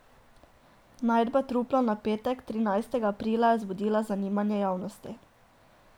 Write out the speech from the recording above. Najdba trupla na petek trinajstega aprila je vzbudila zanimanje javnosti.